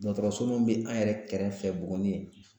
Dɔgɔtɔrɔso min bɛ an yɛrɛ kɛrɛfɛ Buguni